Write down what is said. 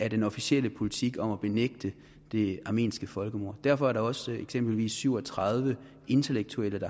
af den officielle politik om at benægte det armenske folkemord derfor er der også eksempelvis syv og tredive intellektuelle